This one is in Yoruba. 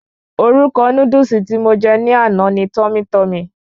Orúkọ Núdúsì tí mo je ní àná ni"Tummy Tummy"